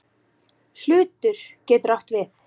Hlutur getur átt við